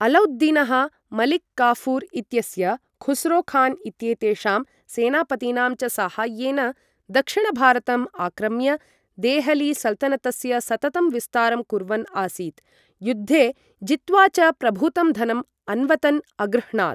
अलौद्दीनः, मलिक काफ़ूर् इत्यस्य, खुसरोखान् इत्येतेषां सेनापतीनां च साहाय्येन दक्षिणभारतम् आक्रम्य देहली सल्तनतस्य सततं विस्तारं कुर्वन् आसीत्, युद्धे जित्वा च प्रभूतं धनं अन्वतन् अगृह्णात्।